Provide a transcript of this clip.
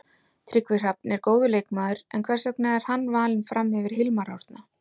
Tryggvi Hrafn er góður leikmaður, en hvers vegna er hann valinn fram yfir Hilmar Árna?